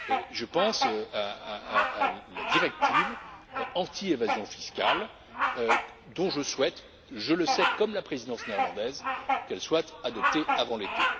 Je pense à la directive anti évasion fiscale, dont je souhaite, je le sais, comme la présidence néerlandaise, qu'elle soit adoptée avant l'été.